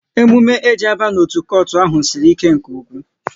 Emume e ji aba n'otu kotu ahụ sịrị ike nke ụkwụ